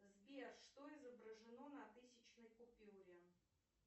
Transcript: сбер что изображено на тысячной купюре